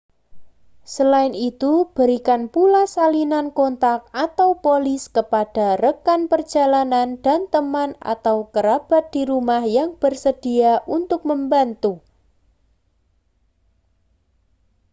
selain itu berikan pula salinan kontak/polis kepada rekan perjalanan dan teman atau kerabat di rumah yang bersedia untuk membantu